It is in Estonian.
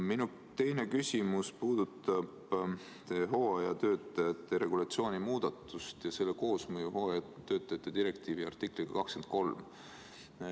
Minu teine küsimus puudutab teie hooajatöötajate regulatsiooni muudatust ja selle koosmõju hooajatöötajate direktiivi artikliga 23.